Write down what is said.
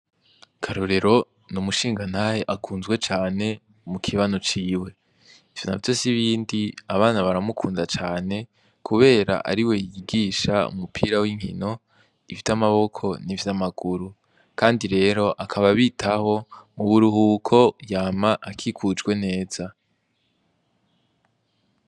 KARORERO n'umushingantahe akunzwe cane mu kibano ciwe ivyo navyo sibindi abana baramukunda cane kubera ariwe yigisha umupira winkino ivyamaboko n'ivyamaguru kandi rero akaba abitaho mu buruhuka yama akikujwe neza.